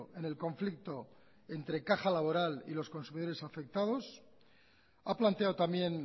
en el conflicto entre caja laboral y los consumidores afectados ha planteado también